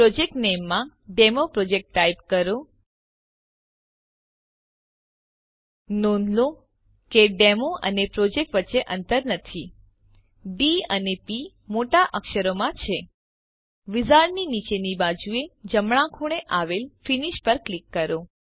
project નામે માં demo project type કરો નોંધ લો કે ડેમો અને પ્રોજેક્ટ વચ્ચે અંતર નથી ડી અને પ મોટા અક્ષરોમાં છે વિઝાર્ડની નીચેની બાજુએ જમણા ખૂણે આવેલ ફિનિશ પર ક્લિક કરો